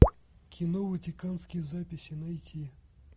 кино ватиканские записи найти